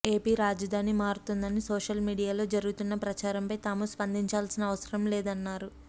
AP రాజధాని మారుతుందని social మీడియాలో జరుగుతున్న ప్రచారంపై తాము స్పందించాల్సిన అవసరం లేదన్నారు